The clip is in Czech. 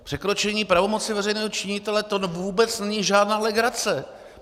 Překročení pravomoci veřejného činitele, to vůbec není žádná legrace.